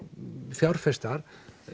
fjárfestar